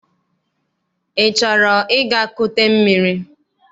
Ị chọrọ ịga kute mmiri?